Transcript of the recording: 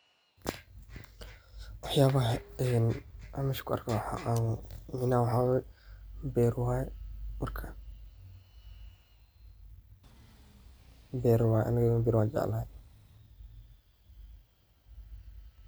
Wax yaabaha aan mesha kuarko waxawaye beer waye. Beera waye aniga beera waan jeclahay.